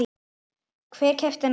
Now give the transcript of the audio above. Hver keypti þennan hring?